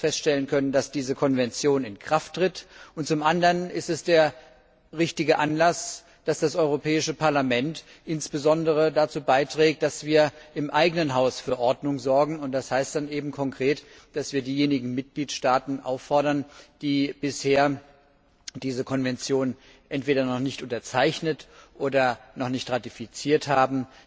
1. August feststellen können, dass diese Konvention in Kraft tritt, und zum anderen ist es der richtige Anlass, dass das Europäische Parlament insbesondere dazu beiträgt, dass wir im eigenen Haus für Ordnung sorgen, und das heißt dann eben konkret, dass wir diejenigen Mitgliedstaaten auffordern, die diese Konvention bisher entweder noch nicht unterzeichnet oder noch nicht ratifiziert haben,